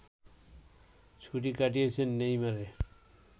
ছুটি কাটিয়েছেন নেইমার